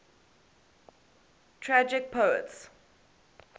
tragic poets